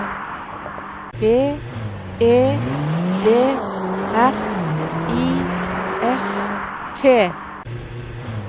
B E D R I F T